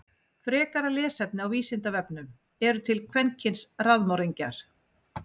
Frekara lesefni á Vísindavefnum: Eru til kvenkyns raðmorðingjar?